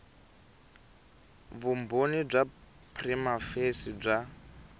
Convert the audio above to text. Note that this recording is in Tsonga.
vumbhoni bya prima facie bya